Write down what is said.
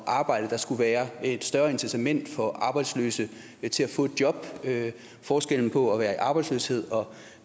arbejde der skulle være et større incitament for arbejdsløse til at få et job forskellen på at være i arbejdsløshed og